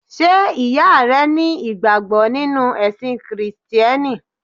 Sé ìyá rẹ ní ìgbàgbọ́ nínú ẹ̀sìn Kìrìsìtíẹ́nì?